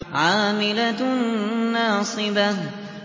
عَامِلَةٌ نَّاصِبَةٌ